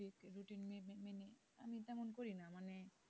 হুম